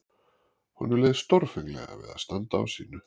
Honum leið stórfenglega við að standa á sínu.